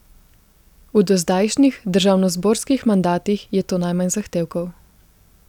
V dozdajšnjih državnozborskih mandatih je to najmanj zahtevkov.